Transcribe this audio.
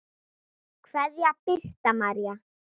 Kveðja, Birta María.